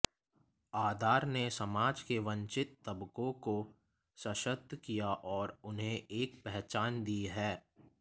आधार ने समाज के वंचित तबकों को सशक्त किया और उन्हें एक पहचान दी है